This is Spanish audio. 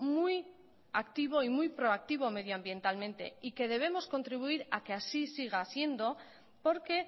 muy activo y muy proactivo medioambientalmente y que debemos contribuir a que así siga siendo porque